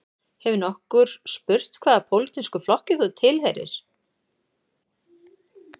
Hefur nokkur spurt hvaða pólitískum flokki þú tilheyrir